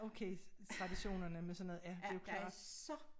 Okay traditionerne med sådan noget ja det jo klart